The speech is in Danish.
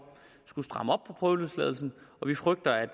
skulle stramme op prøveløsladelser og vi frygter at